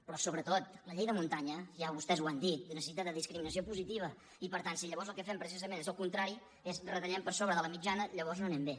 però sobretot la llei de muntanya ja vostès ho han dit necessita discriminació positiva i per tant si llavors el que fem precisament és el contrari retallem per sobre de la mitjana llavors no anem bé